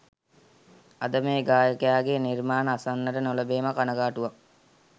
අද මේ ගායකයාගේ නිර්මාණ අසන්නට නොලැබීම කනගාටුවක්